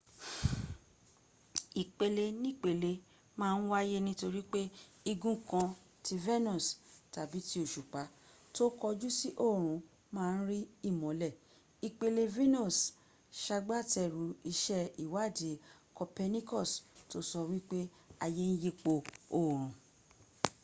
ìpelenípele ma ń wáyé nítorí pé igun kan ti venus tàbí ti òṣùpá tó kọjú sí òòrùn ma ń rí ìmọ́lẹ̀. ìpele venus sagbátẹrù iṣẹ́ ìwádìí copernicus tó sọ wípé ayé ń yípo òòrùn